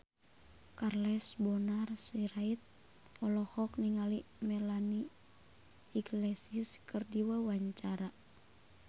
Charles Bonar Sirait olohok ningali Melanie Iglesias keur diwawancara